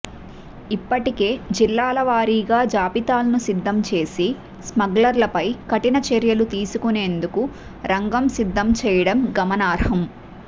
ఇప్పటికే జిల్లాల వారీగా జాబితాలను సిద్దం చేసి స్మగ్లర్లపై కఠిన చర్యలు తీసుకొనేందుకు రంగం సిద్దం చేయడం గమనార్హం